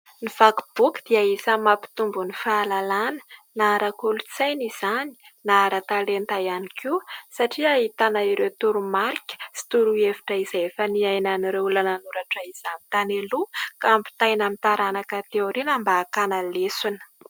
Ny vakiboky dia isany mampitombo ny fahalalana na ara-kolotsaina izany na ara-talenta ihany koa satria ahitana ireo toromarika sy torohevitra izay efa niainan'ireo olona nanoratra izany tany aloha ka ampitaina amin'ny taranaka aty aoriana mba hakana lesona.